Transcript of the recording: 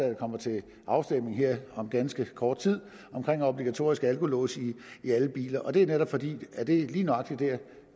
der kommer til afstemning om ganske kort tid om obligatorisk alkolås i alle biler det er netop fordi det lige nøjagtig er det